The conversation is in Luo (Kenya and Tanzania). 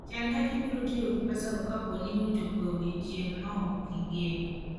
Chan kaka ibiro tiyo gi pesago kapo ni ochopo e odiechieng' ma ok igeno.